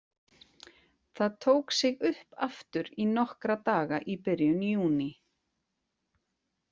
Það tók sig upp aftur í nokkra daga í byrjun júní.